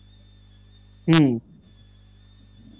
হম